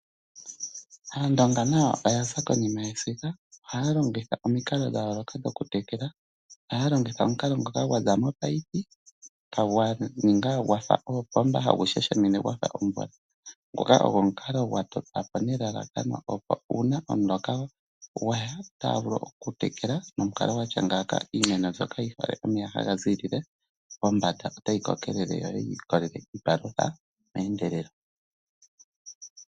Aandonga nayo oya za konima yesiga. ohaya longitha omikalo dhayooloka dho kutekela . Ohaya longitha omukalo ngoka gwaza mo munino gwa ningwa gwafa oopomba tagu shashamine gwafa omvula . Ngoka ogwo omukalo gwa totwa po nelalakano opo una omuloka gwaya otaya vulu okutekela nomukalo gwatya ngaaka . Iimeno mbyoka yina omeya haga ziilile pombanda otayi kokelele yo yi tuleko iipalutha meendelelo